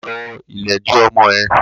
Pàrọ̀ ìlẹ́dì ọmọ ẹ!